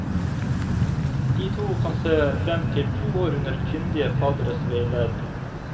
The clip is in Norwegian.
De to kan se frem til to år under kyndige fadderes veiledning.